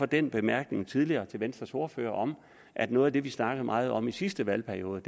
den bemærkning tidligere til venstres ordfører om at noget af det vi snakkede meget om i sidste valgperiode